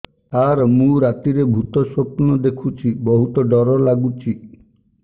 ସାର ମୁ ରାତିରେ ଭୁତ ସ୍ୱପ୍ନ ଦେଖୁଚି ବହୁତ ଡର ଲାଗୁଚି